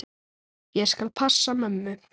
Ég skal passa mömmu.